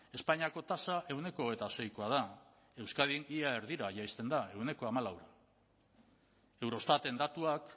espainiako tasa ehuneko hogeita seikoa da euskadin ia erdira jaisten da ehuneko hamalau eurostaten datuak